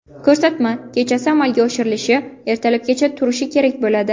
Ko‘rsatma kechasi amalga oshirilishi, ertalabgacha turishi kerak bo‘ladi.